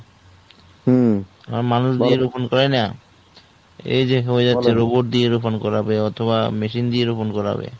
হুম, আর মানুষ পাইনা। এই যে হয়ে যাচ্ছে দিয়ে রোপন করাবে। অথবা machine দিয়ে রোপণ করাবে।